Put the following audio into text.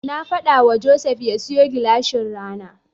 Na faɗawa Joseph ya siyo gilashin rana.